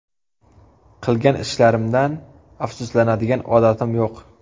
Qilgan ishlarimdan afsuslanadigan odatim yo‘q.